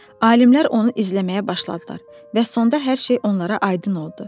Alimlər onu izləməyə başladılar və sonda hər şey onlara aydın oldu.